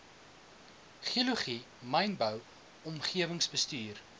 geologie mynbou omgewingsbestuur